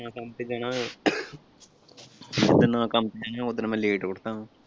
ਦੇਣਾ ਕੰਮ ਤੇ ਓਦਣ ਮੈਂ late ਉੱਠਦਾ ਆ।